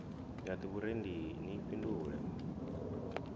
ya d vhurendi ni fhindule